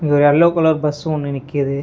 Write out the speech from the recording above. இங்க ஒரு yellow colour bus ஒன்னு நிக்குது.